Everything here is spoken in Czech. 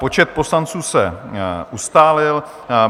Počet poslanců se ustálil.